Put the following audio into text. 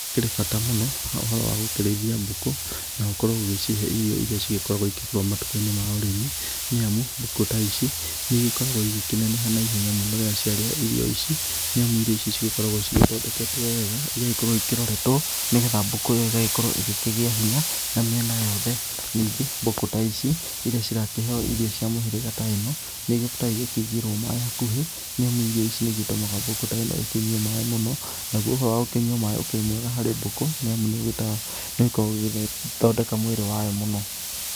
Hakĩrĩ bata mũno ũhoro wa gũkĩrĩithia mbũkũ, na gũkorwo ũgĩcihe irio iria cigĩkoragwo ikĩgũrwo matuka-inĩ ma ũrĩmi, nĩ amu mbũkũ ta ici nĩ igĩkoragwo igĩkĩneneha na ihenya mũno rĩrĩa cia rĩia irio ici, nĩ amu irio ici cigĩkoragwo cigĩthondeketwo wega, igagĩkorwo ikĩroretwo nĩgetha mbũkũ ĩyo ĩgagĩkorwo ĩgĩkĩgĩa hinya na mĩena yothe. Ningĩ mbũkũ ta ici, iria cirakĩheo irio cia mĩhĩrĩga ta ĩno, nĩ ikĩendaga igakĩigĩrwo maaĩ hakuhĩ, nĩ amu irio ta ici nĩ igĩtũmaga mbũkũ ta ĩno ĩkĩnyue maaĩ mũno. Naguo ũhoro wa gũkĩnyua maaĩ ũkĩrĩ mwega harĩ mbũkũ, nĩ amũ nĩ ũgĩkoragwo ũgĩthondeka mwĩrĩ wayo mũno.